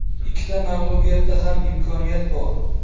Ikkita mag‘lubiyatda ham imkoniyat bor.